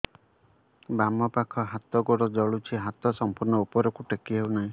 ବାମପାଖ ହାତ ଗୋଡ଼ ଜଳୁଛି ହାତ ସଂପୂର୍ଣ୍ଣ ଉପରକୁ ଟେକି ହେଉନାହିଁ